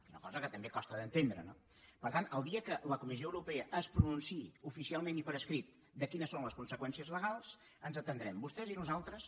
és una cosa que també costa d’entendre no per tant el dia que la comissió europea es pronunciï oficialment i per escrit de quines són les conseqüències legals ens hi atendrem vostès i nosaltres